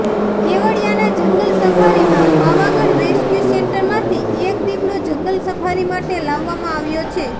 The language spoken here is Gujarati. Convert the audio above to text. કેવડિયાના જંગલ સફારીમાં પાવાગઢ રેસ્ક્યુ સેન્ટરમાંથી એક દીપડો જંગલ સફારી માટે લાવવામાં આવ્યો છે